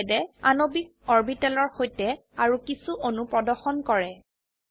এই স্লাইডে আণবিক অৰবিটেলৰ সৈতে আৰো কিছো অণু প্ৰদৰ্শন কৰে